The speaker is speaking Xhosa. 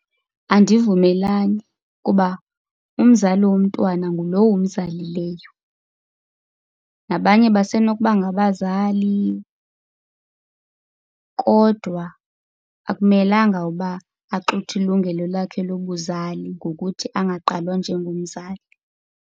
Andivumelani kuba umzali womntwana ngulowo umzalileyo. Nabanye basenokuba ngabazali kodwa akumelanga uba axuthwe ilungelo lakhe lobuzali ngokuthi angagqalwa njengomzali.